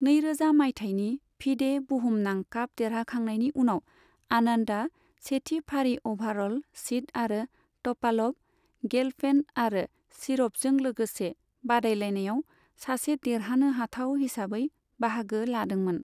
नै रोजा माइथायनि फिडे बुहुमनां काप देरहाखांनायनि उनाव, आनन्दआ सेथि फारि अभारअल सिद आरो टपालभ, गेलफेन्ड आरो शिरभजों लोगोसे बादायलायानायाव सासे देरहानो हाथाव हिसाबै बाहागो लादोंमोन।